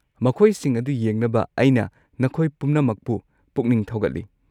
ꯃꯈꯣꯏꯁꯤꯡ ꯑꯗꯨ ꯌꯦꯡꯅꯕ ꯑꯩꯅ ꯅꯈꯣꯏ ꯄꯨꯝꯅꯃꯛꯄꯨ ꯄꯨꯛꯅꯤꯡ ꯊꯧꯒꯠꯂꯤ꯫